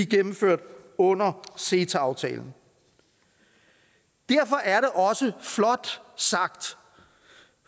gennemført under ceta aftalen derfor er det også flot sagt